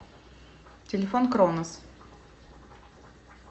телефон кронос